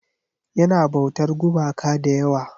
Yana bautar gumaka da yawa.